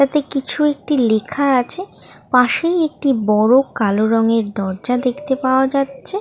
তাতে কিছু একটি লেখা আছে পাশেই একটি বড় কালো রঙের দরজা দেখতে পাওয়া যাচ্ছে ।